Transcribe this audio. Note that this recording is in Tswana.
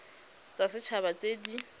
tsa set haba tse di